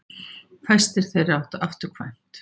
fæstir þeirra áttu afturkvæmt